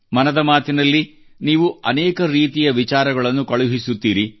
ಮನದ ಮಾತಿನಲ್ಲಿ ನೀವು ಅನೇಕ ರೀತಿಯ ವಿಚಾರಗಳನ್ನು ಕಳುಹಿಸುತ್ತೀರಿ